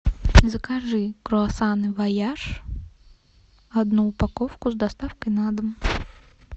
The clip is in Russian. закажи круассаны вояж одну упаковку с доставкой на дом